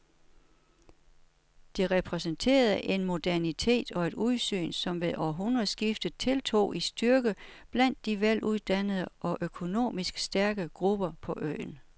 Det repræsenterede en modernitet og et udsyn, som ved århundredeskiftet tiltog i styrke blandt de veluddannede og økonomisk stærke grupper på øen.